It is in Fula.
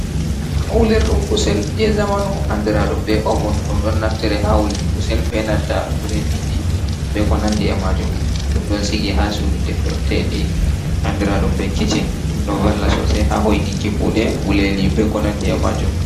Wulirdum kusel je zamanu. Andiraɗum be ovun. Ɗum£1 ɗon naftiri ha wuluki kusel be nanta birediji. Be ko nandi e majum. Ɗum don sigi ha suɗu de furtedi andiraɗum be kicchin. Ɗum ɗo valla sosai ha hoitinki kuɗe guleli be konandi e majum.